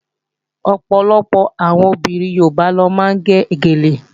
Ọ̀pọ̀lọpọ̀ àwọn obìnrin Yorùbá ló máa ń gẹ gèlè